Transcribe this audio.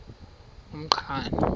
umqhano